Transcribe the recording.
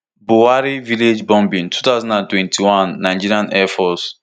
buwari village bombing two thousand and twenty-one nigerian air force